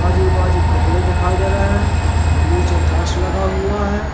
आजू बाजू कपड़े देखाई दे रहे हैं नीचे टाईल्स लगा हुआ है।